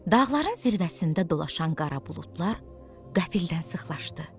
Dağların zirvəsində dolaşan qara buludlar qəfildən sıxlaşdı.